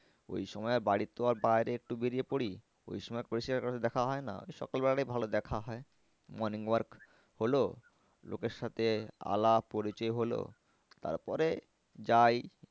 ওই সময় বাড়ির তো আর বাইরে একটু বেরিয়ে পরি ওই সময় কারো সাথে দেখা হয় না ওই সকাল বেলাটাই ভালো দেখা হয় morning walk হল লোকের সাথে আলাপ পরিচয় হল তারপরে যাই